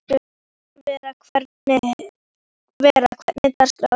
Vera, hvernig er dagskráin?